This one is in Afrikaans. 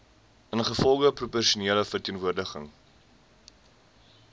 ingevolge proporsionele verteenwoordiging